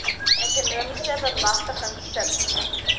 ekonomiese bemagtiging sub